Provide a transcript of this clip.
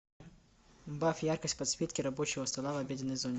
убавь яркость подсветки рабочего стола в обеденной зоне